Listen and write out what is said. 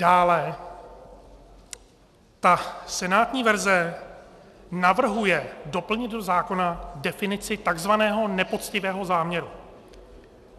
Dále, ta senátní verze navrhuje doplnit do zákona definici takzvaného nepoctivého záměru.